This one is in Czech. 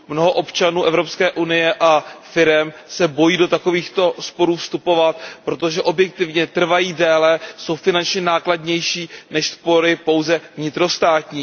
Mnoho občanů Evropské unie a firem se bojí do takovýchto sporů vstupovat, protože objektivně trvají déle, jsou finančně nákladnější než spory pouze vnitrostátní.